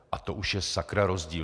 A to už je sakra rozdíl!